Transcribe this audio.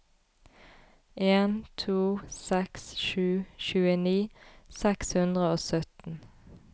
en to seks sju tjueni seks hundre og sytten